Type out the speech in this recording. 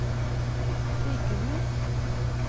sykehus